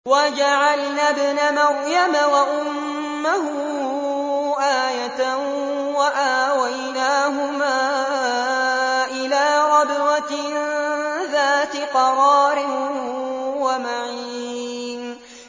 وَجَعَلْنَا ابْنَ مَرْيَمَ وَأُمَّهُ آيَةً وَآوَيْنَاهُمَا إِلَىٰ رَبْوَةٍ ذَاتِ قَرَارٍ وَمَعِينٍ